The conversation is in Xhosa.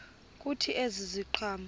kuthi ezi ziqhamo